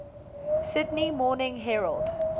sydney morning herald